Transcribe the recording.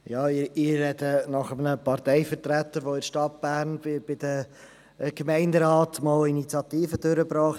Ich spreche nach einem Parteivertreter, der in der Stadt Bern, im Gemeinderat, die Initiative «200 000 Franken sind genug!